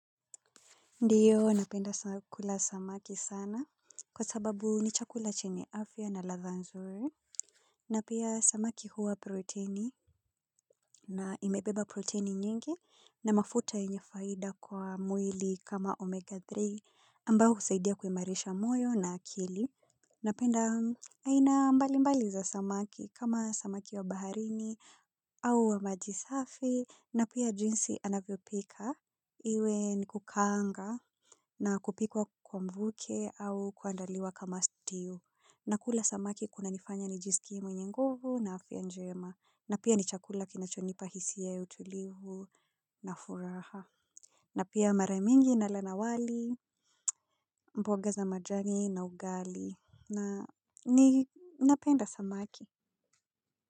Ndio, napenda kula samaki sana kwa sababu ni chakula chenye afya na ladha nzuri. Na pia samaki huwa protini na imebeba protini nyingi na mafuta yenye faida kwa mwili kama omega tatu ambayo husaidia kuimarisha moyo na akili. Napenda aina mbalimbali za samaki kama samaki wa baharini au wa maji safi. Na pia jinsi anavyo pika iwe ni kukaanga na kupikwa kwa mvuke au kuandaliwa kama stew. Na kula samaki kuna nifanya ni jiskie mwenye guvu na afya njema. Na pia ni chakula kinachonipa hisia ya utulivu na furaha. Na pia mara mingi nala na wali, mboga za majani na ugali na ninapenda samaki.